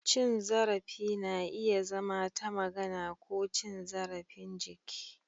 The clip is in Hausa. Cin zarafi na iya zama ta magana ko cin zarafin jiki.